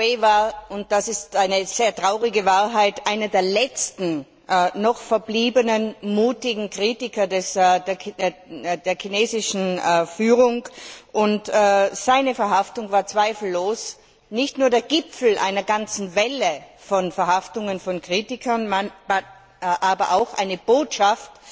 Ai WeiWei war und das ist eine sehr traurige Wahrheit einer der letzten noch verbliebenen mutigen Kritiker der chinesischen Führung. Seine Verhaftung war zweifellos nicht nur der Gipfel einer ganzen Welle von Verhaftungen von Kritikern, sondern auch eine Botschaft